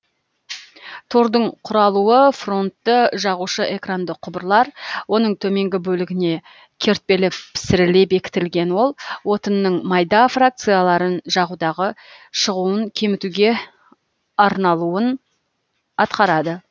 тордың құралуы фронтты жағушы экранды құбырлар оның төменгі бөлігіне кертпелі пісіріле бекітілген ол отынның майда фракцияларын жағудағы шығуын кемітуге арналуын атқарады